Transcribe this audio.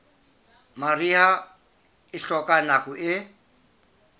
mariha e hloka nako e